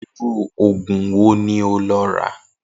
Irú ògùn wo ni o lo̩ rà?